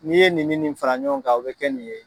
N'i ye nin ni nin fara ɲɔgɔn kan o bɛ kɛ nin ye.